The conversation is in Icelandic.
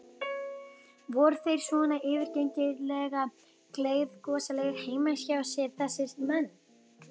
Voru þeir svona yfirgengilega gleiðgosalegir heima hjá sér þessir menn?